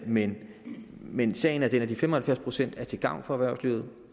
men men sagen er den at de fem og halvfjerds procent er til gavn for erhvervslivet